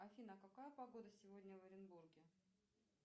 афина какая погода сегодня в оренбурге